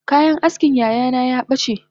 Kayan askin yayana yabace